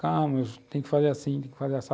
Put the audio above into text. Calma, tem que fazer assim, tem que fazer assim assado.